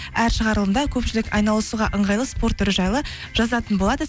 әр шығарылымда көпшілік айналысуға ыңғайлы спорт түрі жайлы жазатын болады